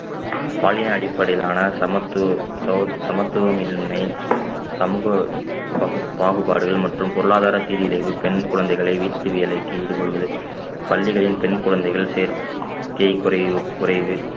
பாலின அடிப்படையிலான சமத்துவ~ சம~ சமத்துவமின்மை சமூக பகு~ பாகுபாடுகள் மற்றும் பொருளாதார சீரழிவு பெண் குழந்தைகளை வீட்டு வேலைக்கு ஈடுபடுவது பள்ளிகளில் பெண் குழந்தைகள் சேர்க்கை குறைவு குறைவு